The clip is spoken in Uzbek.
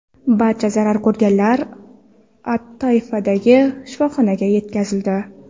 Barcha zarar ko‘rganlar at-Toifdagi shifoxonaga yetkazildi.